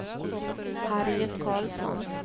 Harriet Carlsson